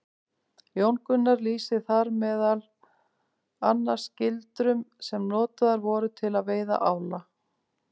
Jón Gunnar lýsir þar meðal annars gildrum sem notaðar voru til að veiða ála.